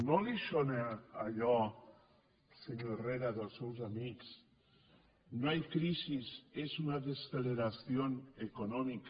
no li sona allò senyor herrera dels seus amics no hay crisis es una desaceleración econòmica